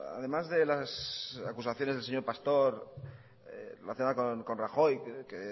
además de las acusaciones del señor pastor relacionada con rajoy que